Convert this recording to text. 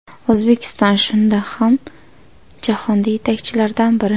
O‘zbekiston shundoq ham jahonda yetakchilardan biri.